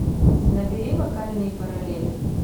набери вокальные параллели